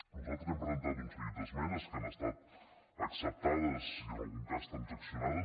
nosaltres hem presentat un seguit d’esmenes que han estat acceptades i en algun cas transaccionades